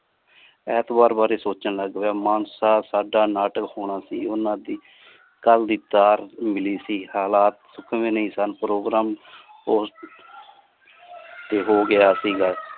ਐਂਤਵਾਰ ਬਾਰੇ ਸੋਚਣ ਲੱਗ ਪਿਆ ਮਾਨਸਾ ਸਾਡਾ ਨਾਟਕ ਹੋਣਾ ਸੀ ਓਹਨਾ ਦੀ ਕਲ ਦੀ ਤਾਰ ਮਿਲੀ ਸੀ ਹਾਲਾਤ ਨਹੀਂ ਸਨ program ਤੋਂ ਹੋ ਗਿਆ ਸੀ।